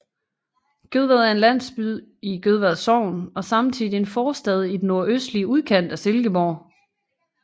Gødvad er en landsby i Gødvad Sogn og samtidig en forstad i den nordøstlige udkant af Silkeborg